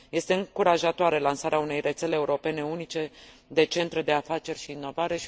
Este încurajatoare lansarea unei rețele europene unice de centre de afaceri și inovare.